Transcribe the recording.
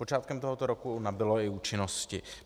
Počátkem tohoto roku nabylo i účinnosti.